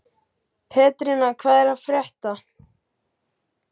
Pétrína, hvað er að frétta?